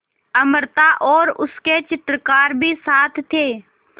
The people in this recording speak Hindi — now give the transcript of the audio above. अमृता और उसके चित्रकार भी साथ थे